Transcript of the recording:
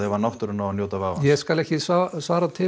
ef náttúran á að njóta vafans ég skal ekki